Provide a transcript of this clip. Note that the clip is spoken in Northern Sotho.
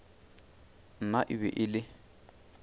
nna e be e le